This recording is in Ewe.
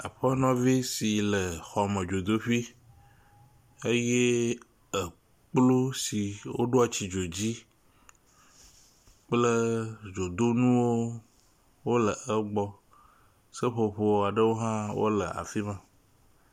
Aƒenɔvi si le xɔ me dzoteƒi eye ekplu si woɖoa tsi dzo dzi kple dzodonuwo le egbɔ. Seƒoƒo aɖewo hã wole afi ma.